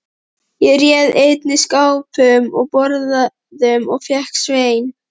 Ég réð einnig skápum og borðum og fékk Svein